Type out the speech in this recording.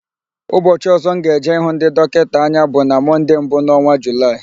Ụbọchị ọ̀zọ́ m ga-eje ịhụ ndị dọkịta anya bụ na Mọnde mbụ n'ọnwa Julaị.